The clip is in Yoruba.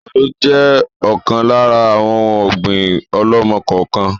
Àgbàdo jẹ ọ̀kan lára àwọn òun ọ̀gbín ọ̀lọ́mọ-kọọ-kan